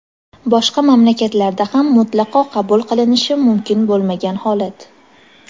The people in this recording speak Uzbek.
boshqa mamlakatlarda ham mutlaqo qabul qilinishi mumkin bo‘lmagan holat.